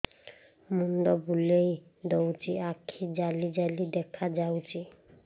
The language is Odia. ମୁଣ୍ଡ ବୁଲେଇ ଦଉଚି ଆଖି ଜାଲି ଜାଲି ଦେଖା ଯାଉଚି